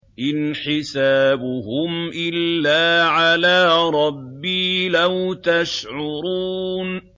إِنْ حِسَابُهُمْ إِلَّا عَلَىٰ رَبِّي ۖ لَوْ تَشْعُرُونَ